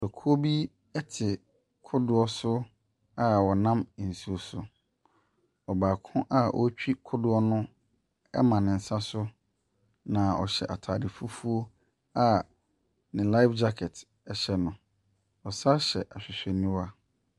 Ekuo bi te kodoɔ so a wɔnam nsuo so. Ɔbaako a ɔretwi kodoɔ no ama ne nsa so. Ɔhyɛ ataade fufuo a ne life gyakɛt hyɛ no. Ɔsan hyɛ ahwehwɛniwa.